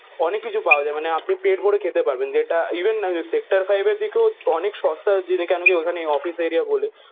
অনেক কিছু পাওয়া যায় মানে আপনি পেট ভরে খেতে পারবেন। যেটা ইভেন নামে সেক্টর ফাইভের দিকেও অনেক সস্তায় যদি কেন কি ওখানে অফিস এরিয়া বলে?